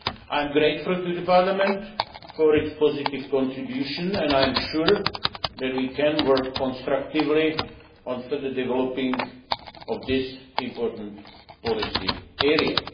I am grateful to Parliament for its positive contribution and I am sure that we can work constructively on further developing this important policy area.